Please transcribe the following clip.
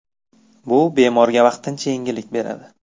Bu bemorga vaqtincha yengillik beradi.